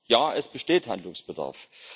Ja, es besteht Handlungsbedarf!